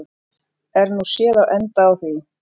Er nú séð á enda á því.